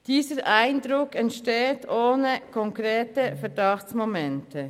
Dieser Eindruck entsteht ohne konkrete Verdachtsmomente.